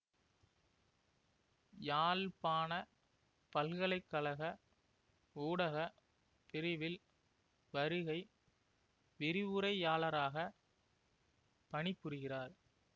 யாழ்ப்பாண பல்கலை கழக ஊடக பிரிவில் வருகை விரிவுரையாளராக பணிபுரிகிறார்